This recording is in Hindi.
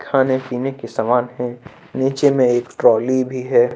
खाने पीने के समान है नीचे में एक ट्राली भी है।